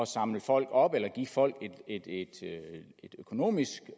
samle folk op eller give folk et økonomisk